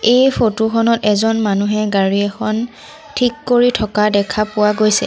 এই ফটো খনত এজন মানুহে গাড়ী এখন থিক কৰি থকা দেখা পোৱা গৈছে।